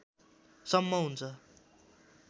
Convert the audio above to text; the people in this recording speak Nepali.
सम्म हुन्छ